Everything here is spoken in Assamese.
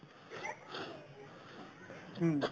হুম